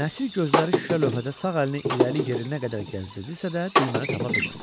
Nəsir gözləri şüşə lövhədə sağ əlini irəli-yerinə qədər gəzdirdisə də, düyməni tapa bilmədi.